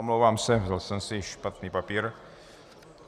Omlouvám se, vzal jsem si špatný papír.